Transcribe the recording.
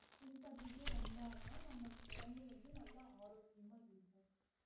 பின்பற்றிட்டே வந்தா தான் நம்ம உடம்பு வந்து நல்ல ஆரோக்கியமா இருக்கும்